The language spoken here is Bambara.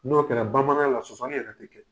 N'o kɛra bamananya la, sɔsɔli yɛrɛ tɛ kɛ.